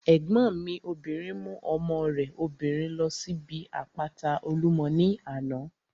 Ẹ̀gbọ́n mi obìnrin mú ọmọ rẹ̀ obìnrin ló síbi àpáta Olúmọ ní àná